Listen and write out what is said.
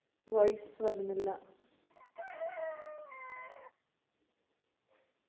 voice വരുന്നില്ല